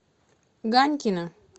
ганькина